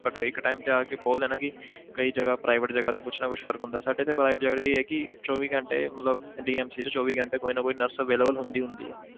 But ਇੱਕ time ਤੇ ਆ ਕੇ ਬੋਲਦੇ ਆ ਨਾ ਕਿ ਕਈ ਜਗ੍ਹਾ private ਜਗ੍ਹਾ ਤੇ ਕੁਛ ਨਾ ਕੁਛ ਫ਼ਰਕ ਹੁੰਦਾ ਸਾਡੇ ਇੱਥੇ private ਜਗ੍ਹਾ ਤੇ ਇਹ ਹੈ ਕਿ ਚੌਵੀ ਘੰਟੇ ਮਤਲਬ DMC 'ਚ ਚੌਵੀ ਘੰਟੇ ਕੋਈ ਨਾ ਕੋਈ nurse available ਹੁੰਦੀ ਹੁੰਦੀ ਹੈ।